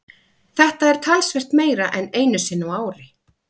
Þetta er talsvert meira en einu sinni á ári.